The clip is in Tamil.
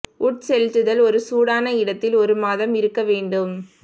உட்செலுத்துதல் ஒரு சூடான இடத்தில் ஒரு மாதம் இருக்க வேண்டும்